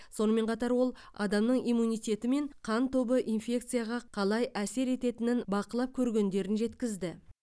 сонымен қатар ол адамның иммунитеті мен қан тобы инфекцияға қалай әсер ететінің бақылап көргендерін жеткізді